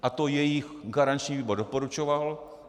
A to jejich garanční výbor doporučoval.